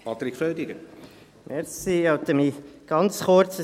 Ich halte mich ganz kurz.